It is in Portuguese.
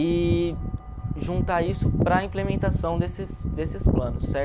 E juntar isso para a implementação desses desses planos, certo?